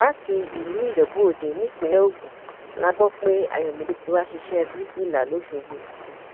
láti ìlú ijebuòde nípínlẹ ogun la gbọ pé ayọmídé ti wá ṣiṣẹ bíríkìlà lọsogbó